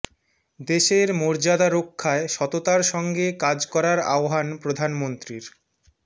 দেশের মর্যাদা রক্ষায় সততার সঙ্গে কাজ করার আহ্বান প্রধানমন্ত্রীর